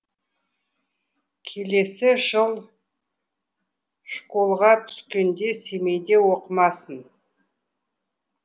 келесі жыл школға түскенде семейде оқымасын